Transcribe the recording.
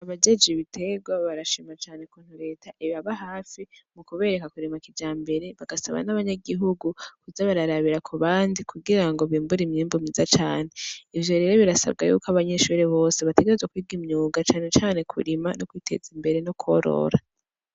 Abajejwe ibiterwa barashima cane ukuntu reta ibaba hafi mu kubereka kurima kijambere. Bagasaba n’abanyagihugu kuza bararabira ku bandi, kugira ngo bimbure imyimbu mwiza cane. Ivyo rero, birasabwa ko abanyeshure bose bategerezwa kwiga imyuga, cane cane kurima, no kwiteza imbere no korora.